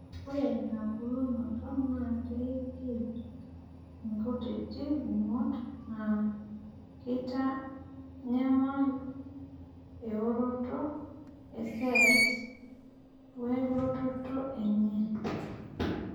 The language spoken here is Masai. ore ina bulunoto naa keing'ial inkutiti gumot, naa keitanyama eoroto e cells we lototo enye